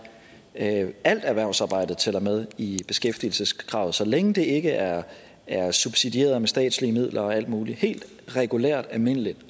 at alt erhvervsarbejde tæller med i beskæftigelseskravet så længe det ikke er er subsidieret med statslige midler og alt muligt helt regulært almindeligt